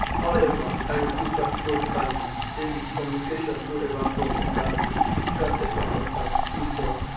however i repeat categorically say di communications no ever cross enta physical sexual contact e tok